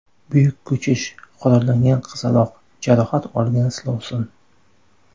Buyuk ko‘chish, qurollangan qizaloq, jarohat olgan silovsin.